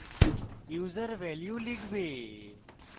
user value লিখবে